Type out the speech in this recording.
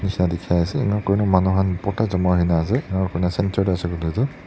dekhai ase enika kurina manu khan bhorta jama hoina ase aro enika kurina centre teh ase kole tuh--